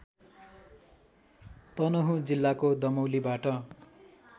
तनहुँ जिल्लाको दमौलीबाट